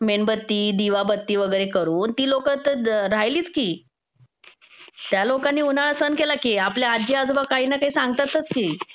मेणबत्ती, दिवाबत्ती वगैरे करून, ती लोक तर राहिलीच की. त्या लोकांनी उन्हाळा सहन केला की. आपले आज्जी आजोबा काही ना काही सांगतातच की.